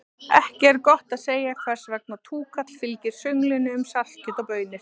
Ekki er gott að segja hvers vegna túkall fylgir sönglinu um saltkjöt og baunir.